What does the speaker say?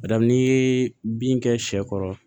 Bari n'i ye bin kɛ sɛ kɔrɔ